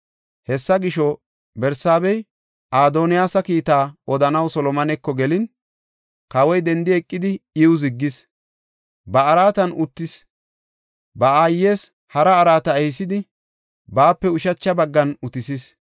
Hessa gisho, Barsaabey Adoniyaasa kiitaa odanaw Solomoneko gelin, kawoy dendi eqidi, iw ziggis. Ba araatan uttis; ba aayes hara araata ehisidi, baape ushacha baggan utisis.